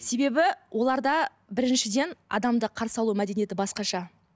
себебі оларда біріншіден адамды қарсы алу мәдениеті басқаша